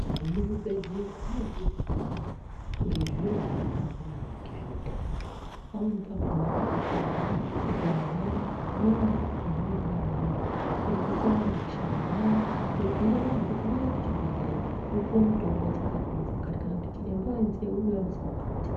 Ve mu zvibhedhlera vanodzidzisa vantu nge zviro zvaka wanda maningi zve utano pamweni pakona uka pinde uka hamba unoona zvipepa zvinenge zvaka namirwa zveidzidzisa vantu kushambe nyara zveibhire anhu kuti huyai ku chibhedhlera mupuwe mitombo dzakati ne dzakati ne dzakati kana kuti chiremba we nze ari kuuya musi wakati.